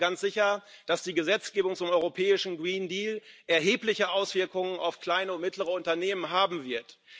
Denn ich glaube ganz sicher, dass die Gesetzgebung zum europäischen G reen Deal erhebliche Auswirkungen auf kleine und mittlere Unternehmen haben wird.